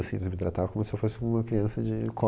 Assim eles me tratavam como se eu fosse uma criança de